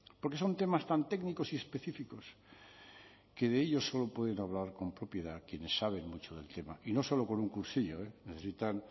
porque son temas tan técnicos y específicos que de ello solo pueden hablar con propiedad quienes saben mucho del tema y no solo con un cursillo necesitan